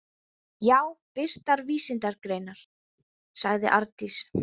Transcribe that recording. Já, birtar vísindagreinar, sagði Arndís.